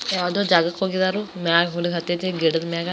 ಯಾವುದೋ ಜಾಗಕ್ಕೆ ಹೋಗಿದ್ದಾರು ಹುಡುಗ್ದ್ದಾನೆ ಗಿಡದ ಮ್ಯಾಗ --